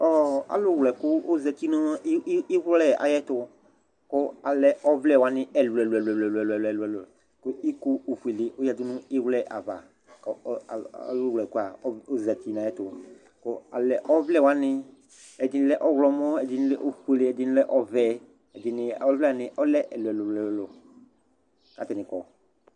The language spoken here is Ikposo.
ɔlʊ wlɛkʊ zati iwlɛnʊ ay'ɛtʊ, kʊ alɛ ɔvlɛwanɩ ɛlʊɛlʊ, kʊ iko ofue dɩ yǝdʊ nʊ iwlɛnʊ yɛ ava, kʊ ɔlʊ wlɛkʊ yɛ zati nʊ ay'ɛtʊ, kʊ alɛ ɔvlɛwanɩ, ɛɩnɩ lɛ ɔwlɔmɔ, ɛdɩnɩ lɛ ofue, ɛdɩnɩ lɛ ɔvɛ, ɔvlɛwanɩ lɛ ɛlʊɛlʊ, kʊ atanɩ kɔ